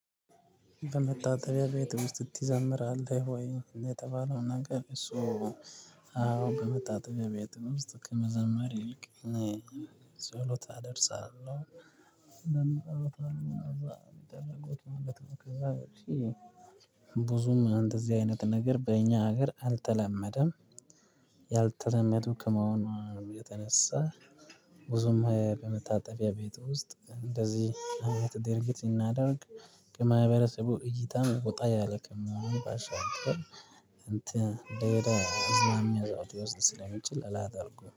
በመታጠጣቢያ ብት ውስጥ ትዘምራለህ ወይ? የተባለውን ነገር እሱ አዎ በመጣ ጥገብ የጥም ውስጥ ከመዘመር ይልቅ ጸሎት አደርሳለሁ። ብዙም አንተ እዚህ አይነት ነገር በእኛ ሀገር አልተለመደም። ያልተለመዱ ከመሆኑ ነው የተነሳ። ብዙም በመታጠቢያ ቤት ውስጥ እንደዚህ አይነት ድርጊት እናደርግ። ከማህበረሰቡ እይታም ወጣ ያለ ከመሆኑ ባሻገር እንትን ደወደ እዛም ያዛው ሊወስድ ስለሚችል አላደርጉም